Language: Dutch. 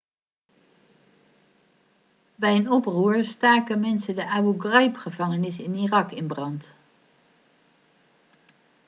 bij een oproer staken mensen de abu ghraib-gevangenis in irak in brand